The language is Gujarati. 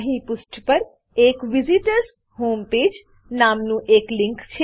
અહીં પુષ્ઠ પર એક visitors home page visitors home page નામનું એક લીંક છે